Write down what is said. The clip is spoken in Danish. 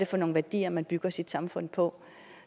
for nogle værdier man bygger sit samfund på